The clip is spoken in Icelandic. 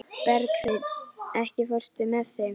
Berghreinn, ekki fórstu með þeim?